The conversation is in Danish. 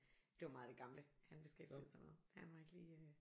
Det var meget det gamle han beskæftigede sig med han var ikke lige